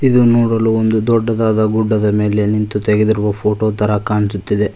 ಇದು ನೋಡಲು ಒಂದು ದೊಡ್ಡದಾದ ಗುಡ್ಡದ ಮೇಲೆ ನಿಂತು ತೆಗೆದಿರುವ ಫೋಟೋ ತರ ಕಾಣಿಸುತ್ತಿದೆ.